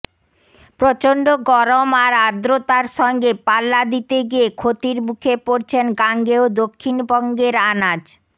প্রচণ্ড গরম আর আর্দ্রতার সঙ্গে পাল্লা দিতে গিয়ে ক্ষতির মুখে পড়ছেন গাঙ্গেয় দক্ষিণবঙ্গের আনাজ